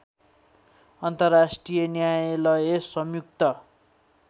अन्तर्राष्ट्रिय न्यायालय संयुक्त